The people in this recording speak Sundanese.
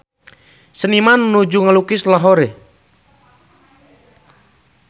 Seniman nuju ngalukis Lahore